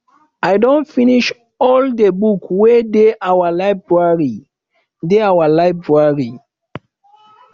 i don finish all the books wey dey our library dey our library